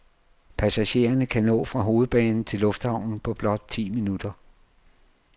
Passagererne kan nå fra hovedbanen til lufthavnen på blot ti minutter.